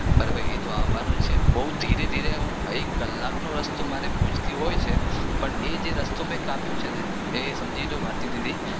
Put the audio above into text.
બહુ ધીરે ધીરે હું એક કલાક નો રસ્તો મારે ભુજથી હોય છે પણ એજે રસ્તો મે કાપ્યો છે ને સમજીલો ભારતીદીદી બરાબર એતો આવનો જ છે